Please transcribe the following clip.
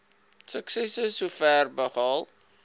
suksesse sover behaal